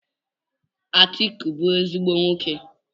Atiku bu ezigbo nwoke.